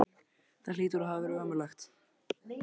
Það hlýtur að hafa verið ömurlegt.